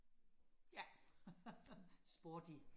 ja sporty